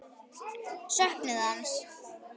Söknuðu hans.